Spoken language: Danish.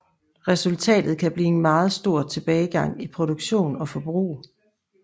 Resultatet kan blive en meget stor tilbagegang i produktion og forbrug